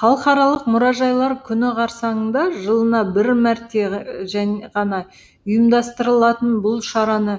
халықаралық мұражайлар күні қарсаңында жылына бір мәрте ғана ұйымдастырылатын бұл шараны